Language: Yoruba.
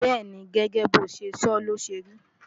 bẹ́́ẹ̀ni, gẹ́gẹ́ bo ṣe sọ ló ṣe ri